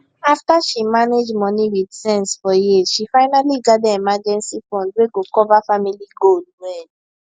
after she manage money with sense for years she finally gather emergency fund wey go cover family goal well